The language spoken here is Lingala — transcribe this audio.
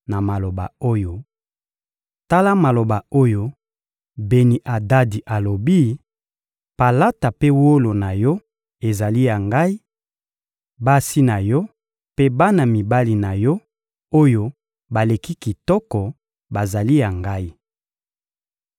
na maloba oyo: — Tala maloba oyo Beni-Adadi alobi: «Palata mpe wolo na yo ezali ya ngai; basi na yo mpe bana mibali na yo, oyo baleki kitoko bazali ya ngai.»